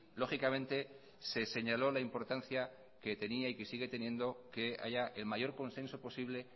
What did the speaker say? lógicamente se señaló la importancia que tenía y que sigue teniendo que haya el mayor consenso posible